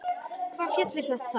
Hvaða fjall er þetta þá?